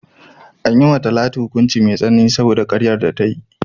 An yi wa Talatu hukunci mai tsanani saboda karyar da ta yi.